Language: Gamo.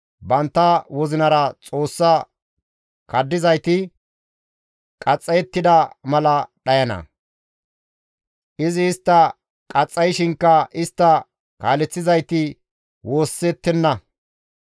«Bantta wozinara Xoossa kaddizayti qaxxayettida mala daana; izi istta qaxxayshinkka istta kaaleththizayti woossettenna.